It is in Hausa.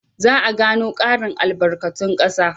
Za a gano ƙarin albarkatun ƙasa.